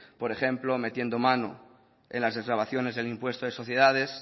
por ejemplo metiendo mano en las desgravaciones del impuesto de sociedades